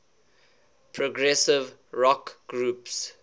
progressive rock groups